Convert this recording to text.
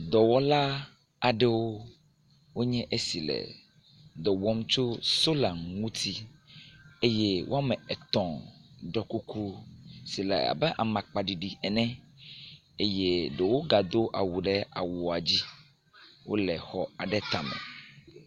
Dɔwɔla aɖewo nye esi le dɔ wɔm tso sola ŋuti eye wome etɔ̃ ɖɔ kuku si le aba amakpa ɖiɖi ene eye ɖewo gado awu ɖe awua dzi. Wole xɔ aɖe tame.